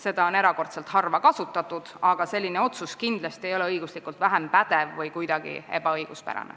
Seda on erakordselt harva kasutatud, aga selline otsus ei ole kindlasti vähem pädev või kuidagi õigusvastane.